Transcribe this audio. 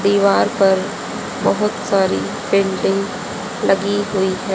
दीवार पर बहुत सारी पेंटिंग लगी हुई हैं।